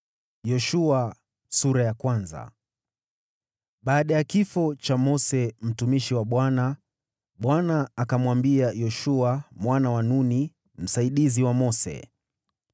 Baada ya kifo cha Mose mtumishi wa Bwana , Bwana akamwambia Yoshua mwana wa Nuni, msaidizi wa Mose: